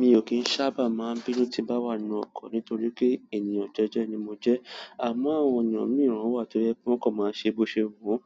Mi ò kín sábà máa bínú tí n bá wà nínú ọkọ̀ nítorí pé ènìyàn jeje ni mo jẹ́. Àmọ́ àwọn ènìyàn mi wọn wà tó yẹ pé wón kan máa ń ṣe bí ọṣẹ wù won.